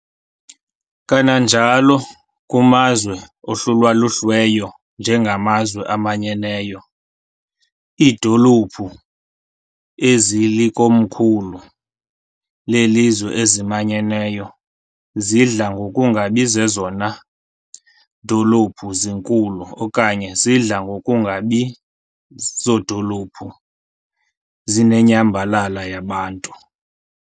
Kananjalo, kumazwe ahlulwaluhlweyo nje ngamaZwe aManyeneyo, iidolophu ezilikomkhulu lezizwe ezimanyeneyo zidla ngokungabi zezona dolophu zinkulu okanye zidla ngokungabi zodolophu zinenyambalala yabantu.